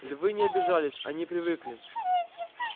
львы не обижались они привыкли